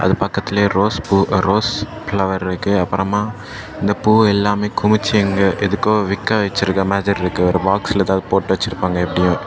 இது பக்கத்திலே ரோஸ் பூ ரோஸ் பிளவர் இருக்கு அப்பறமா இந்தப் பூ எல்லாமே குமிச்சு இங்க எதுக்கோ விக்க வெச்சிருக்க மாதிரி இருக்கு ஒரு பாக்ஸில எதாது போட்டு வச்சுருப்பாங்க எப்டியு.